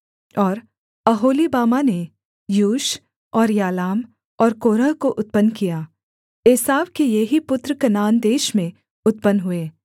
और ओहोलीबामा ने यूश और यालाम और कोरह को उत्पन्न किया एसाव के ये ही पुत्र कनान देश में उत्पन्न हुए